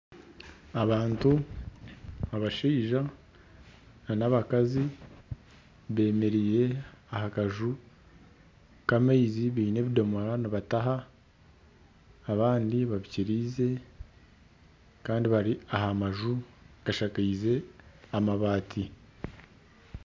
Abantu abashaija na n'abakazi bemereire aha kanju k'amaizi biine ebidoomora nibataha abandi babikirize kandi bari aha manju agashankize amabaati.